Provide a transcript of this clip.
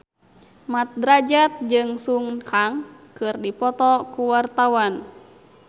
Mat Drajat jeung Sun Kang keur dipoto ku wartawan